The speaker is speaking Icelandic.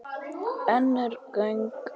Önnur gögn.